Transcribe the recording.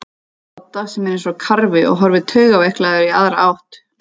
Dodda sem er eins og karfi og horfir taugaveiklaður í aðra átt.